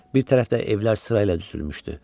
Bir tərəfdə evlər sırayla düzülmüşdü.